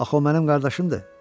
Axı o mənim qardaşımdır.